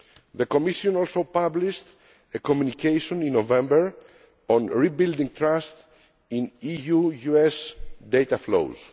The Commission also published a communication in November on rebuilding trust in EU US data flows.